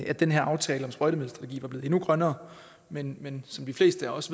at den her aftale om sprøjtemidler var blevet endnu grønnere men men som de fleste af os